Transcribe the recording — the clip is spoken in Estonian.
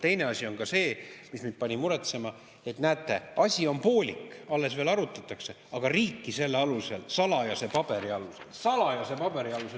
Teine asi, mis mind pani muretsema, on see, et näete, asi on poolik, alles veel arutatakse, aga riiki selle alusel, salajase paberi alusel – salajase paberi alusel!